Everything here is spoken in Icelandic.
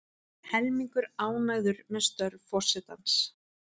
Helmingur ánægður með störf forsetans